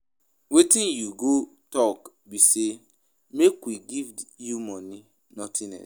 Wetin you go talk be say make we give you money nothing else